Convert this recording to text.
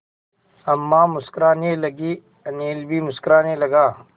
अम्मा मुस्कराने लगीं अनिल भी मुस्कराने लगा